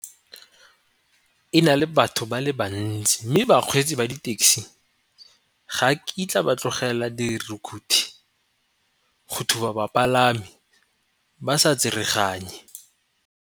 E na le batho ba le bantsi, mme bakgweetsi ba di-taxi ga kitla ba tlogela dirukhutlhi go thuba bapalami ba sa tsereganye.